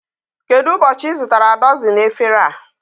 Kedụ ụbọchị I zụtara dọzini efere a?